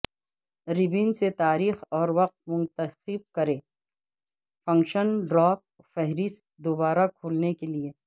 ribbon سے تاریخ اور وقت منتخب کریں فنکشن ڈراپ فہرست دوبارہ کھولنے کے لئے